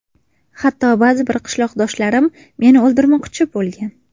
Hatto ba’zi bir qishloqdoshlarim meni o‘ldirmoqchi bo‘lgan.